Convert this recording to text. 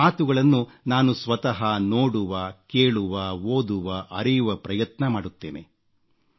ನಿಮ್ಮ ಮಾತುಗಳನ್ನು ನಾನು ಸ್ವತಃ ನೋಡುವ ಕೇಳುವ ಓದುವ ಅರಿಯುವ ಪ್ರಯತ್ನ ಮಾಡುತ್ತೇನೆ